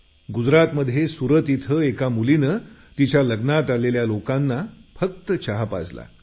गुजरातमध्ये सुरत इथे एका मुलीने तिच्या लग्नात आलेल्या लोकांना फक्त चहा पाजला